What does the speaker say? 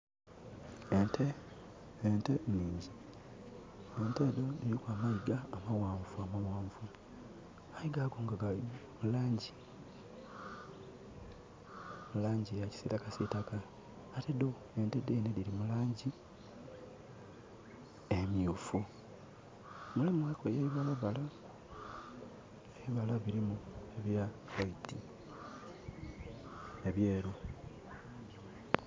Ente, Ente nhingi. Ente edho diriku amayiga amaghanvu amaghanvu aye gaku gali mulangi eya kisitaka ate dho ente dhene diri mulangi emyufu. Mulimu ku eye bibalabala. Ebibala birimu ebya white, ebyeru.